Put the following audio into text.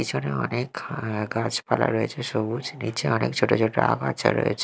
পিছনে অনেক আঃ গাছপালা রয়েছে সবুজ নীচে অনেক ছোট ছোট আগাছা রয়েছে।